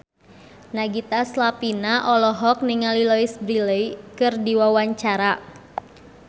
Nagita Slavina olohok ningali Louise Brealey keur diwawancara